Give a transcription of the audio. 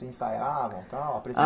Ensaiavam tal?